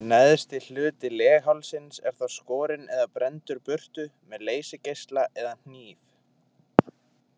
Neðsti hluti leghálsins er þá skorinn eða brenndur burtu með leysigeisla eða hníf.